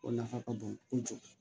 O nafa ka bon kojugu